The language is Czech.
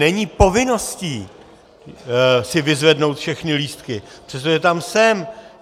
Není povinností si vyzvednout všechny lístky, přestože tam jsem.